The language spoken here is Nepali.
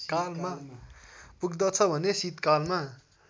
पुग्दछ भने शीतकालमा